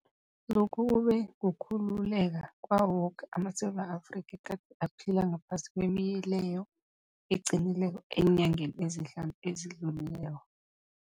Lokhu kube kukhululeka kwawo woke amaSewula Afrika egade aphila ngaphasi kwemileyo eqinileko eenyangeni ezihlanu ezidlulileko.